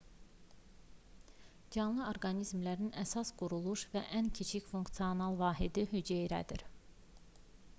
canlı orqanizmlərin əsas quruluş və ən kiçik funksional vahidi hüceyrədir